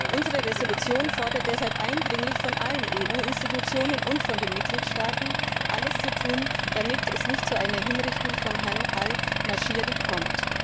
Unsere Entschließung fordert daher eindringlich von allen EU Institutionen und von den Mitgliedstaaten alles zu tun, damit es nicht zu einer Hinrichtung von Herrn el Nashiri kommt.